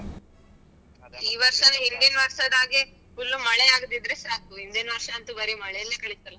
ಈ ವರ್ಷವು ಹಿಂದಿನ ವರ್ಷದ ಹಾಗೆ full ಮಳೆ ಆಗದಿದ್ರೆ ಸಾಕು, ಹಿಂದಿನ್ ವರ್ಷ ಅಂತೂ ಬರಿ ಮಳೇಲಿ ಕಳೀತಲ್ಲಾ.